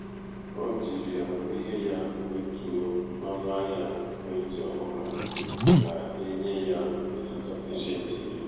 o jiri amamihe ya kwetuo onu ahia ekwentị ọhụrụ ahụ ka e nye ya mbelata pasentị iri